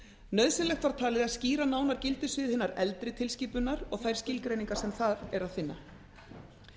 nauðsynlegt var talið að skýra nánar gildissvið hinnar eldri tilskipunar og þær skilgreiningar sem þar er að finna